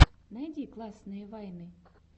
найди классные вайны